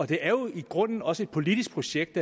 det er jo i grunden også et politisk projekt